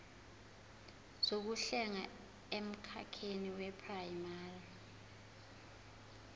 zokuhlenga emkhakheni weprayimari